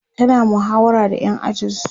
tana muhawara da ƴan ajinsu